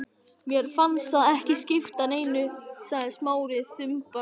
Mér fannst það ekki skipta neinu sagði Smári þumbaralega.